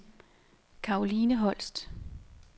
Karoline Holst